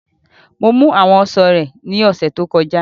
Mo mú àwọn ọsàn rẹ ní ọ̀sẹ̀ tó kọjá